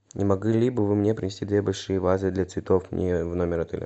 не могли бы вы мне принести две большие вазы для цветов мне в номер отеля